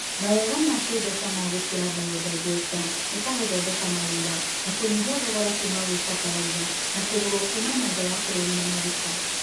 mawega ma kĩmbeca ma gũkĩra mbayodaegesta nĩta gũthondeka mawĩra, na kũnyihia thogora kuuma gwĩ bataraitha ya kũgũrwo kuuma naja wa bũrũrina na maguta.